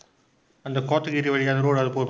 அந்த கோத்தகிரி வழியா road அது போகும்